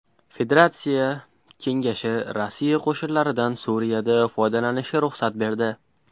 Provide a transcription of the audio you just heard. Federatsiya Kengashi Rossiya qo‘shinlaridan Suriyada foydalanishga ruxsat berdi.